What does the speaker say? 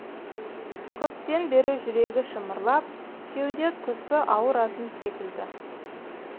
көптен бері жүрегі шымырлап кеуде тұсы ауыратын секілді